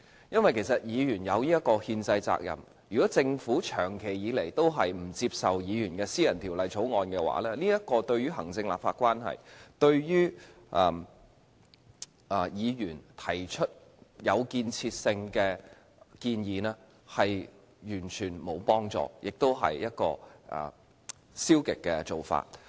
議員有這個憲制責任，如果政府長期不接受議員的私人條例草案，對於行政立法關係、對議員提出有建設性的建議，完全沒有幫助，亦是一種消極的做法。